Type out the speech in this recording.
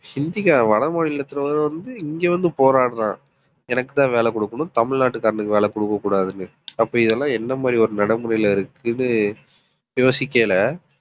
ஹிந்திக்கார வட மாநிலத்திலயிருந்து வந்து இங்க வந்து போராடுறான். எனக்குத்தான் வேலை கொடுக்கணும் தமிழ்நாட்டுக்காரனுக்கு வேலை கொடுக்கக்கூடாதுன்னு. அப்ப இதெல்லாம் என்ன மாதிரி ஒரு நடைமுறையில இருக்குதுன்னு யோசிக்கையில